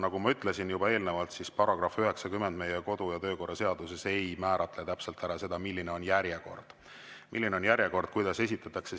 Nagu ma ütlesin juba eelnevalt, § 90 meie kodu‑ ja töökorra seaduses ei määratle täpselt seda, milline on järjekord, kuidas esitatakse.